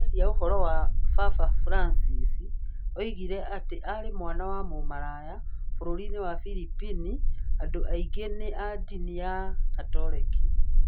Akĩaria ũhoro wa Papa Francis, oigire atĩ aarĩ "mwana wa mũmaraya" (bũrũri-inĩ wa Philippines andũ aingĩ nĩ a ndini ya Gatoreki).